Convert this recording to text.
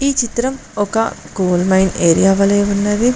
ఈ చిత్రం ఒక కోల్ మైన్ ఏరియా వలె ఉన్నది.